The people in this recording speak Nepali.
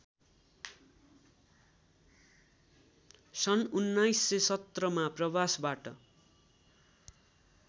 सन् १९१७ मा प्रवासबाट